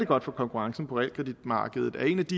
godt for konkurrencen på realkreditmarkedet blandt andet